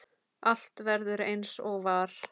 Allt verður eins og var.